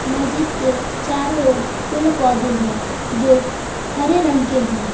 मस्जिद के चारों ओर पेड़ पौधे हैं जो हरे रंग के हैं।